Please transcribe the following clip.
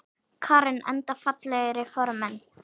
Karen: Enda fallegir formenn?